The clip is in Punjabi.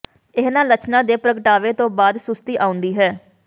ਇਹਨਾਂ ਲੱਛਣਾਂ ਦੇ ਪ੍ਰਗਟਾਵੇ ਤੋਂ ਬਾਅਦ ਸੁਸਤੀ ਆਉਂਦੀ ਹੈ